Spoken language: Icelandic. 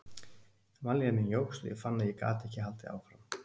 Vanlíðan mín jókst og ég fann að ég gat ekki haldið áfram.